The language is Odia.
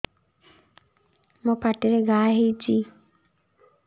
ମୋର ପାଟିରେ ଘା ହେଇଚି